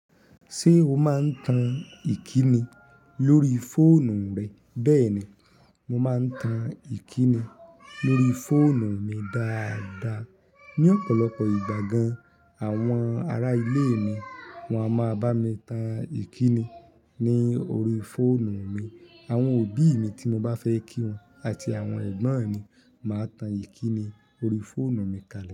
Ṣé o máa ń tan ìkíni lórí fóònù rẹ? Bẹ́ẹ̀ni, mo máa ń tan ìkínni lórí fóònù mi dáadáa. Ni ọ̀pọ̀lọpọ̀ ìgbà gan, àwọn ará ilé mi, wọn a máa bá mi tan ìkínni ní orí fóònù mi. Àwọn òbí mi tí mo bá fẹ́ kí wọn àti àwọn ẹ̀gbọ́n mi máa tan ìkínni orí fóònù mi kalẹ̀